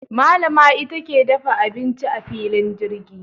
Malama ita ke dafa abinci a filin jirgin.